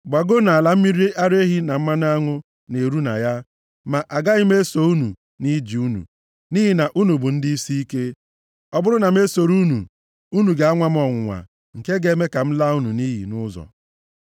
Gbago nʼala mmiri ara ehi na mmanụ aṅụ na-eru na ya, ma agaghị m eso unu nʼije unu, nʼihi na unu bụ ndị isiike. Ọ bụrụ na m esoro unu, unu ga-anwa m ọnwụnwa, nke ga-eme ka m laa unu nʼiyi nʼụzọ.”